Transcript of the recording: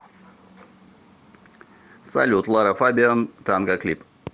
салют лара фабиан танго клип